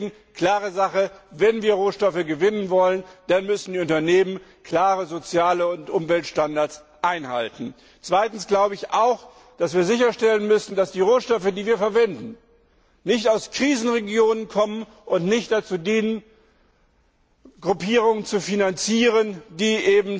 Deshalb ist klar Wenn wir Rohstoffe gewinnen wollen, dann müssen die Unternehmen klare Sozial und Umweltstandards einhalten. Zweitens müssen wir auch sicherstellen, dass die Rohstoffe, die wir verwenden, nicht aus Krisenregionen kommen und nicht dazu dienen, Gruppierungen zu finanzieren, die